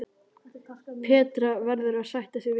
Petra verður að sætta sig við það.